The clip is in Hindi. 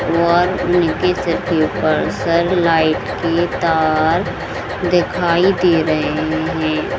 और उनके सर के ऊपर सर लाइट के तार दिखाई दे रहे है ।